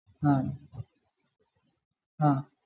ആ ആഹ്